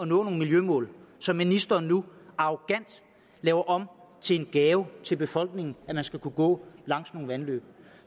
nogle miljømål som ministeren nu arrogant laver om til en gave til befolkningen at man skal kunne gå langs nogle vandløb